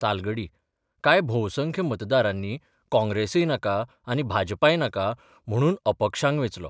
तालगडी कांय भोवसंख्य मतदारांनी काँग्रेसय नाका आनी भाजपाय नाका म्हणून अपक्षांक वेंचलो.